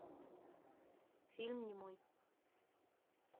фильм немой